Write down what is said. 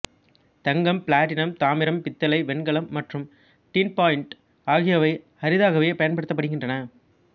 தங்கம் platinum தாமிரம் பித்தளை வெண்கலம் மற்றும் டின்பாயிண்ட் ஆகியவை அரிதாகவே பயன்படுத்தப்படுகின்றன